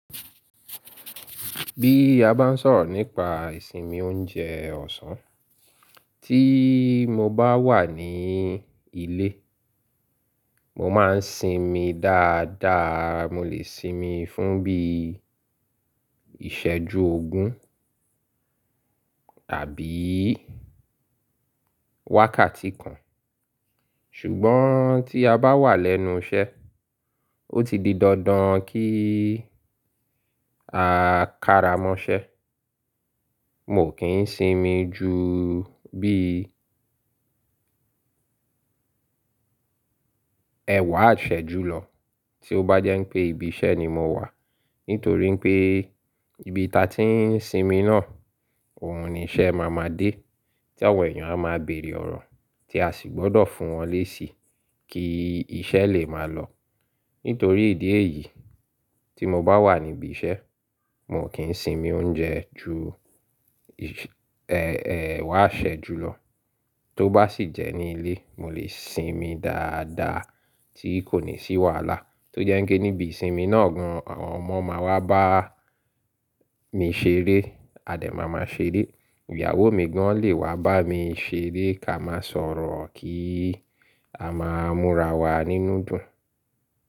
Bí a bá ń sọ̀rọ̀ nípa ìsinmi oúnjẹ ọ̀sán, tí mo bá wà ní ilé, mo máa ń sinmi dáadáa. Mo lè sinmi fún bí ìṣẹ́jú ogún tàbí wákàtí kan. Ṣùgbọ́n tí a bá wà lẹ́nu iṣẹ́, ó ti di dandan kí a ƙara mọ́ṣẹ́. Mo kì ń sinmi ju bí ẹwá iṣẹ́jù lọ tí ó bá jẹ́ pé ibi iṣẹ́ ni mo wà. Nítorí pé ibi ta tí ń sinmi náà, òun ni iṣẹ́ máa ma dé, tí àwọn èèyàn a máa bèèrè ọ̀rọ̀ tí a sì gbọ́dọ̀ fún wọn léṣe kí iṣẹ́ lè máa lọ. Nítorí ìdí èyí tí mo bá wà níbi iṣẹ́, mo kìń sinmi oúnjẹ ju ẹ-ẹwá iṣẹ́jù lọ. Tó bá sì jẹ́ ní ilé, mo lè sinmi dáadáa tí kò ní sí wàhálà. Tó jẹ́ kí níbi ìsinmi náà gan, àwọn ọmọ máa wá bá mi ṣeré, adẹ́ máa má ṣeré, ìyàwó mi gan lè wá bá mi ṣeré ká máa sọ̀rọ̀ kí a máa múra wa nínú dùn.